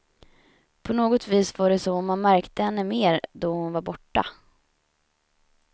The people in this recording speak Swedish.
På något vis var det som att man märkte henne mer då hon var borta.